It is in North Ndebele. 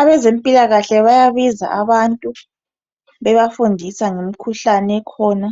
Abezempilakahle bayabiza abantu bebafundisa ngemikhuhlane ekhona